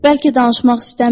Bəlkə danışmaq istəmir.